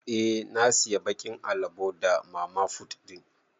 Eh na siya bakin alabo da mamafut din.